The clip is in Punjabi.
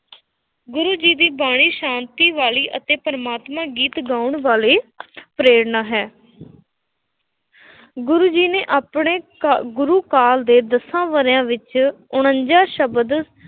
ਗੂਰ ਜੀ ਬਾਣੀ ਸ਼ਾਤੀ ਵਾਲੀ ਅਤੇ ਪ੍ਰਮਾਤਮਾ ਗੀਤ ਗਾਉਣ ਵਾਲੀ ਪ੍ਰੇਰਨਾ ਹੈ ਗੁਰੂ ਜੀ ਨੇ ਆਪਣੇ ਕ ਗੁਰੂ ਕਾਲ ਦੇ ਦਸਾਂ ਵਰ੍ਹਿਆਂ ਵਿੱਚ ਉਨੰਜ਼ਾ ਸ਼ਬਦ